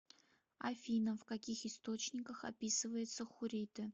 афина в каких источниках описывается хурриты